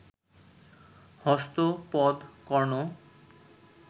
হস্ত পদ, কর্ণ